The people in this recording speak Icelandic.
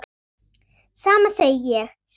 Sama segi ég sagði Lúlli.